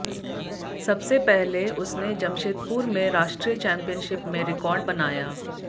सबसे पहले उसने जमशेदपुर में राष्ट्रीय चैम्पियनशिप में रिकार्ड बनाया